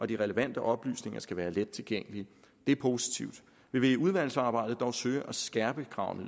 de relevante oplysninger skal være let tilgængelige det er positivt vi vil i udvalgsarbejdet dog søge at skærpe kravene